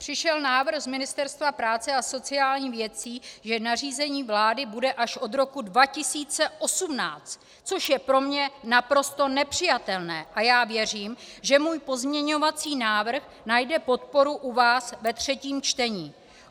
Přišel návrh z Ministerstva práce a sociálních věcí, že nařízení vlády bude až od roku 2018, což je pro mě naprosto nepřijatelné, a já věřím, že můj pozměňovací návrh najde podporu u vás ve třetím čtení.